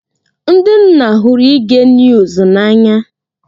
Ndị nna hụrụ ige niuz na anya.